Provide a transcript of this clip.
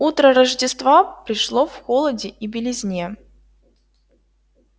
утро рождества пришло в холоде и белизне